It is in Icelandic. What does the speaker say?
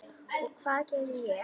Og hvað gerði ég?